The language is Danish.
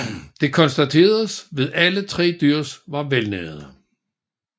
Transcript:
Det konstateredes ved alle tre dyr var velnærede